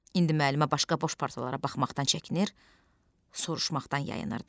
İndi müəllimə başqa boş partalara baxmaqdan çəkinir, soruşmaqdan yayınırdı.